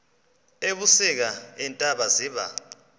ebusika iintaba ziba